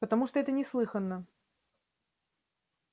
потому что это неслыханно